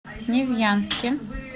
невьянске